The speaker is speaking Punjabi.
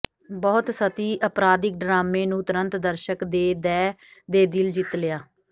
ਬਹੁਤ ਸਤਹੀ ਅਪਰਾਧਿਕ ਡਰਾਮੇ ਨੂੰ ਤੁਰੰਤ ਦਰਸ਼ਕ ਦੇ ਦਹਿ ਦੇ ਦਿਲ ਜਿੱਤ ਲਿਆ